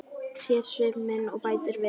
Sér svip minn og bætir við.